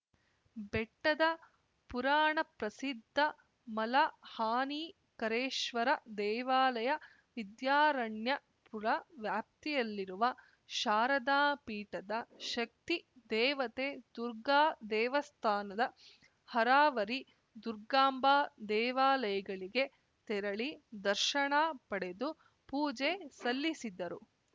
ಬೆಟ್ಟದ ಪುರಾಣಪ್ರಸಿದ್ಧ ಮಲಹಾನಿಕರೇಶ್ವರ ದೇವಾಲಯ ವಿದ್ಯಾರಣ್ಯಪುರ ವ್ಯಾಪ್ತಿಯಲ್ಲಿರುವ ಶಾರದಾ ಪೀಠದ ಶಕ್ತಿ ದೇವತೆ ದುರ್ಗಾ ದೇವಸ್ಥಾನದ ಹರಾವರಿ ದುರ್ಗಾಂಬಾ ದೇವಾಲಯಗಳಿಗೆ ತೆರಳಿ ದರ್ಶನ ಪಡೆದು ಪೂಜೆ ಸಲ್ಲಿಸಿದ್ದರು